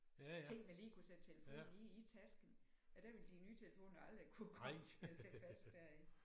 Ting man lige kunne sætte telefonen i i tasken og der ville de nye telefoner aldrig kunne komme til at sidde fast deri